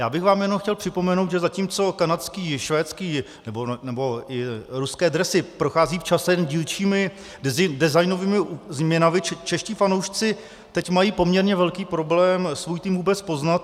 Já bych vám jenom chtěl připomenout, že zatímco kanadské, švédské nebo i ruské dresy procházejí časem dílčími designovými změnami, čeští fanoušci teď mají poměrně velký problém svůj tým vůbec poznat.